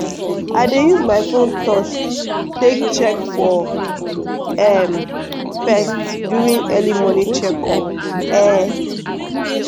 i dey use my phone touch take check for um pest during early morning check up. um